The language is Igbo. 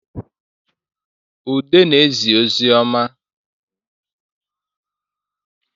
Ude na-ezi ozi ọma